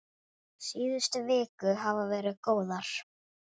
Síðustu vikur hafa verið góðar.